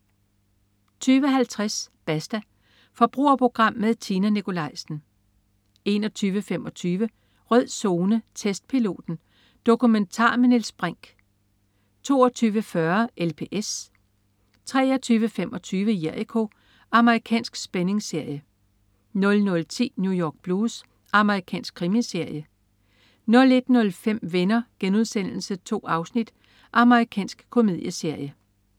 20.50 Basta. Forbrugerprogram med Tina Nikolaisen 21.25 Rød Zone: Testpiloten. Dokumentar med Niels Brinch 22.40 LPS 23.25 Jericho. Amerikansk spændingsserie 00.10 New York Blues. Amerikansk krimiserie 01.05 Venner.* 2 afsnit. Amerikansk komedieserie